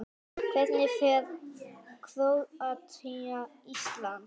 Hvernig fer Króatía- Ísland?